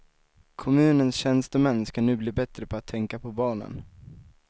Kommunens tjänstemän ska nu bli bättre på att tänka på barnen.